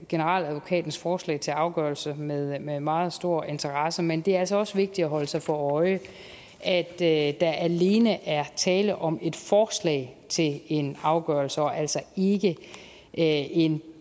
generaladvokatens forslag til afgørelse med med meget stor interesse men det er altså også vigtigt at holde sig for øje at at der alene er tale om et forslag til en afgørelse og altså ikke en